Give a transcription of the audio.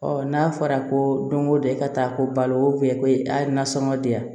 n'a fɔra ko don ko don e ka taa ko balo ko a nasɔngɔ diya